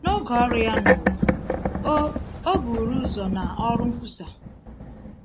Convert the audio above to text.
N’oge ọrụ Ya n’ụwa, O O buru ụzọ na ọrụ nkwusa.